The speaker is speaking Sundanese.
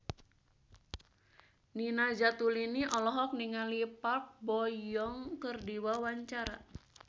Nina Zatulini olohok ningali Park Bo Yung keur diwawancara